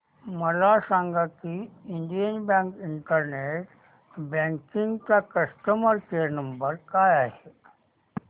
मला सांगा की इंडियन बँक इंटरनेट बँकिंग चा कस्टमर केयर नंबर काय आहे